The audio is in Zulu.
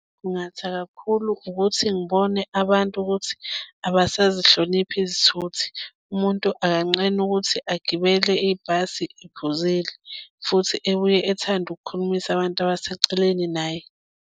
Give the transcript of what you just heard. Khungatha kakhulu ukuthi ngibone abantu ukuthi abasazihlonipha izithuthi. Umuntu akanqeni ukuthi agibele ibhasi ephuzile futhi ebuye ethande ukukhulumisa abantu abaseceleni naye.